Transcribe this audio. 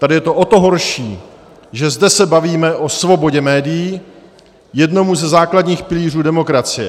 Tady je to o to horší, že zde se bavíme o svobodě médií, jednomu ze základních pilířů demokracie.